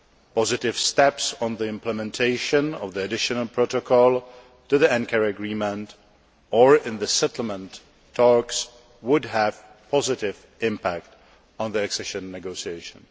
Positive steps on the implementation of the additional protocol to the Ankara agreement or in the settlement talks would have a positive impact on the accession negotiations.